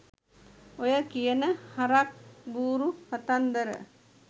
ඔය කියන හරක් බුරු කතන්දර